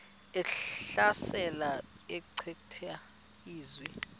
ehlasela echitha izizwe